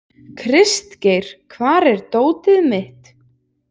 Kristgeir, hvar er dótið mitt?